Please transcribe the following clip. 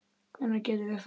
Hvenær getum við farið?